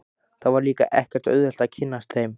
Það var líka ekkert auðvelt að kynnast þeim.